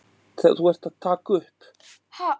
Skelf of mikið til að opna gluggann.